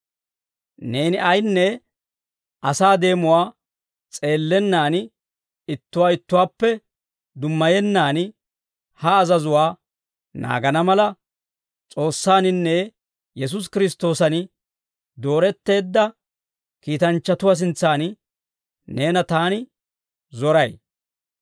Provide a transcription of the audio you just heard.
Neeni ayinne asaa deemuwaa s'eellennan, ittuwaa ittuwaappe dummayennan ha azazuwaa naagana mala, S'oossaaninne Yesuusi Kiristtoosan dooretteedda kiitanchchatuwaa sintsan neena taani zoray.